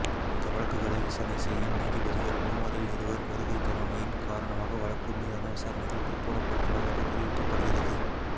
இந்த வழக்குகளை விசாரணை செய்யும் நீதிபதிகள் மூவரில் இருவர் வருகை தராமையின் காரணமாக வழக்கு மீதான விசாரணைகள் பிற்போடப்பட்டுள்ளதாக தெரிவிக்கப்படுகிறது